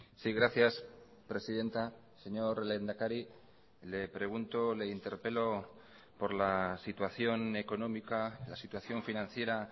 sí gracias presidenta señor lehendakari le pregunto le interpelo por la situación económica la situación financiera